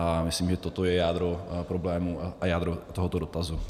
A myslím, že toto je jádro problému a jádro tohoto dotazu.